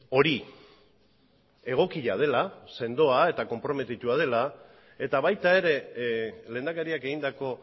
hori egokia dela sendoa eta konprometitua dela eta baita ere lehendakariak egindako